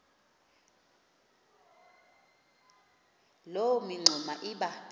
loo mingxuma iba